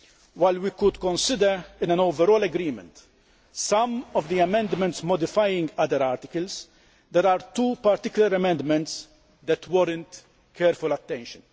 While we could consider, in an overall agreement, some of the amendments modifying other articles, there are two particular amendments that warrant careful attention.